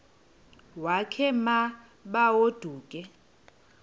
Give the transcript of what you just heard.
wakhe ma baoduke